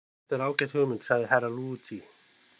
Þetta er ágæt hugmynd, sagði Herra Luigi.